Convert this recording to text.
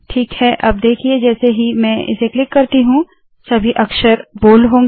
ठीक है अब देखिए जैसे ही मैं इसे क्लिक करती हूँ सभी अक्षर बोल्ड होंगे